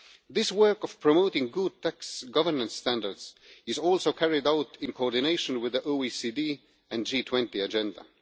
This work of promoting good tax governance standards is also carried out in coordination with the OECD and G20 agenda.